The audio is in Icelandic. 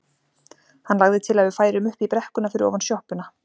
Hann lagði til að við færum upp í brekkuna fyrir ofan sjoppuna.